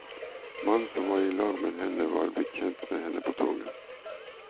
Mannen som var i lag med henne var blitt kjent med henne på toget.